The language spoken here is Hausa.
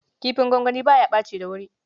Kifin gongoni ba ya ɓaci da wuri.